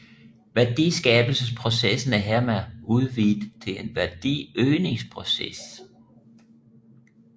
Værdiskabelsesprocessen er hermed udvidet til en værdiøgningsproces